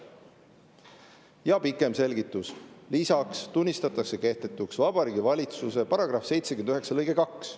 " Ja pikem selgitus: "Lisaks tunnistatakse kehtetuks Vabariigi Valitsuse seaduse § 79 lõige 2.